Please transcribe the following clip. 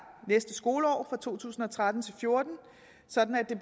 næste skoleår to tusind og tretten til fjorten sådan at